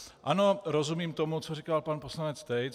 Ano, rozumím tomu, co říkal pan poslanec Tejc.